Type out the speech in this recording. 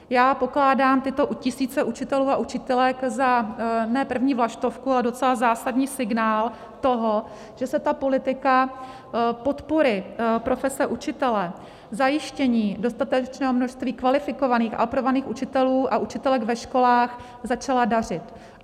Já pokládám tyto tisíce učitelů a učitelek za ne první vlaštovku, ale docela zásadní signál toho, že se ta politika podpory profese učitele, zajištění dostatečného množství kvalifikovaných a aprobovaných učitelů a učitelek ve školách začala dařit.